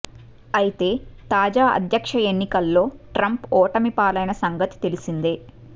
అయితే తాజా అధ్యక్ష ఎన్నికల్లో ట్రంప్ ఓటమి పాలైన సంగతి తెలిసిందే